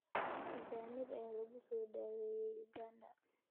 Ajaanib ayaa lagu soo dhaweeyay Uganda.